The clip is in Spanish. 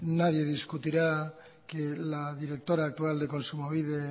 nadie discutirá que la directora actual de kontsumobide